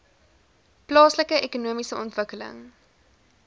plaaslike ekonomiese ontwikkeling